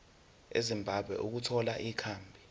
ezimbabwe ukuthola ikhambi